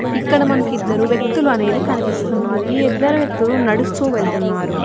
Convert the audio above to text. ఇక్కడ మనకి ఇద్దరు వ్యక్తిలూనేది కనిపిస్తున్నది ఈ ఇద్దరు వ్యక్తిలు నడుస్తూ వెళ్తున్నారు.